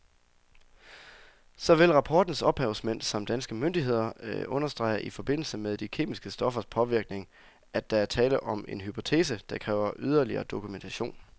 Såvel rapportens ophavsmænd samt danske myndigheder understreger i forbindelse med de kemiske stoffers påvirkning, at der er tale om en hypotese, der kræver yderligere dokumentation.